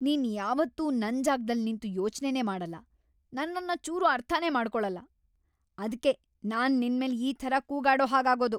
ನೀನ್‌ ಯಾವತ್ತೂ ನನ್‌ ಜಾಗ್ದಲ್‌ ನಿಂತು ಯೋಚ್ನೆನೇ ಮಾಡಲ್ಲ, ನನ್ನನ್ನ ಚೂರೂ ಅರ್ಥನೇ ಮಾಡ್ಕೊಳಲ್ಲ, ಅದ್ಕೇ ನಾನ್‌ ನಿನ್ಮೇಲ್‌ ಈ ಥರ ಕೂಗಾಡೋ ಹಾಗಾಗೋದು.